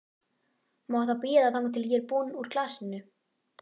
Má það bíða þangað til ég er búin úr glasinu?